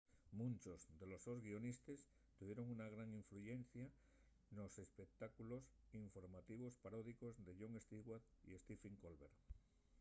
munchos de los sos guionistes tuvieron una gran influyencia nos espectáculos informativos paródicos de jon stewart y stephen colbert